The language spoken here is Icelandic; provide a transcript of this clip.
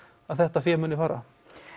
þetta fé muni fara